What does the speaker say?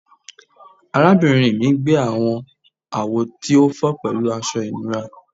Arabinrin mi gbẹ awọn awo ti o fọ pẹlu aṣọ ìnura